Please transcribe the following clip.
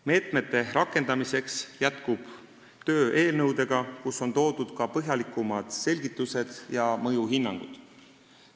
Meetmete rakendamiseks jätkub töö eelnõudega, kus on toodud ka põhjalikumad selgitused ja mõjuhinnangud.